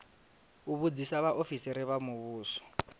u vhudzisa vhaofisiri vha muvhuso